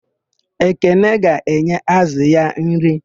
Ekene ga-enye ázụ̀ ya nri.